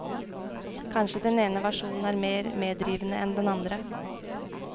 Kanskje den ene versjonen er mer medrivende enn den andre.